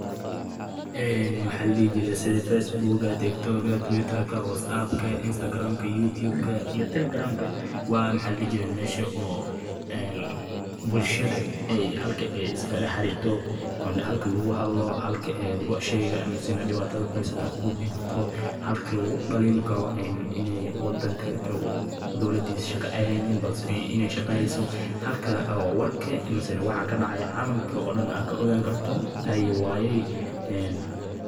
Barnaamijyada warbaahinta bulshada waa aalado casri ah oo dadka u suurta geliyay inay si degdeg ah oo fudud u wada xiriiraan, u wadaagaan xogaha, sawirrada, muuqaallada, iyo dareenka nolosha maalinlaha ah, taasoo kor u qaadday isdhexgalka bulshada, wacyigelinta, iyo helitaanka wararka cusub, hase yeeshee.